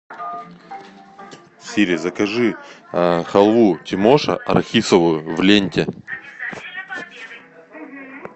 сири закажи халву тимоша арахисовую в ленте